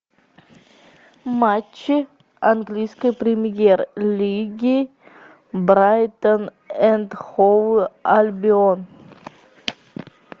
матчи английской премьер лиги брайтон энд хоув альбион